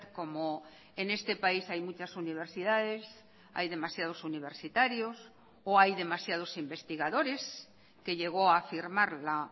como en este país hay muchas universidades hay demasiados universitarios o hay demasiados investigadores que llegó a afirmar la